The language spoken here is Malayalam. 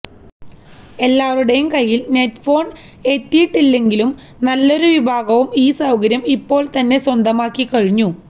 എല്ലാവരുടെയും കൈയില് നെറ്റ്ഫോണ് എത്തിയിട്ടില്ലെങ്കിലും നല്ലൊരു വിഭാഗവും ഈ സൌകര്യം ഇപ്പോള് തന്നെ സ്വന്തമാക്കിക്കഴിഞ്ഞു